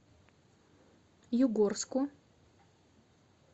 югорску